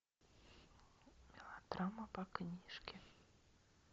мелодрама по книжке